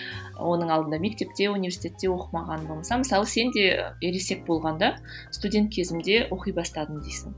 оның алдында мектепте университетте оқымаған болсам мысалы сен де ересек болғанда студент кезімде оқи бастадым дейсің